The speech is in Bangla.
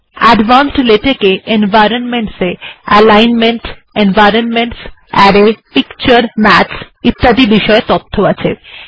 অ্যাডভান্সড লেটেক্স এ environments এ alignments environments arrays pictures maths ইত্যাদি বিষয়ে তথ্য আছে